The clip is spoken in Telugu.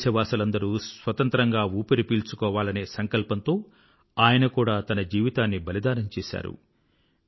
దేశవాసులందరూ స్వాతంత్రంగా ఊపిరి పీల్చుకోవాలనే సంకల్పంతో ఆయన కూడా తన జీవితాన్ని బలిదానం చేశారు